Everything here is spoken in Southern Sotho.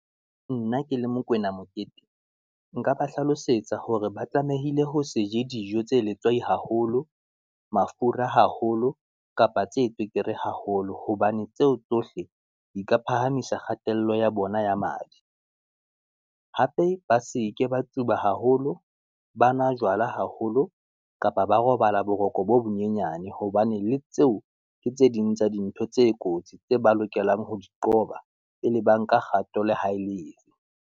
Nna ke le mokwena Mokete, nka ba hlalosetsa hore ba tlamehile ho se je dijo tse letswai haholo, mafura haholo kapa tse tswekere haholo, hobane tseo tsohle di ka phahamisa kgatello ya bona ya madi. Hape ba seke ba tsuba haholo, ba nwa jwala haholo kapa ba robala boroko bo bonyenyane. Hobane le tseo, ke tse ding tsa dintho tse kotsi tse ba lokelang ho di qoba, pele ba nka kgato le ha e leng.